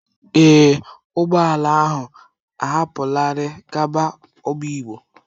Ee, ụgbọ ala ahụ ahapụlarị gaba obigbo.